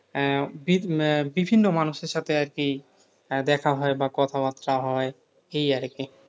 আহ বি আহ বিভিন্ন মানুষের সাথে আরকি দেখা হয় বা কথাবার্তা হয়। এই আরকি।